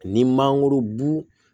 Ni mangorobu